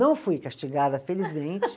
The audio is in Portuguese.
Não fui castigada, felizmente.